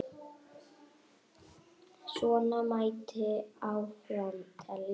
Svona mætti áfram telja.